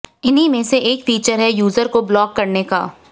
इन्हीं में से एक फीचर है यूजर को ब्लॉक करने का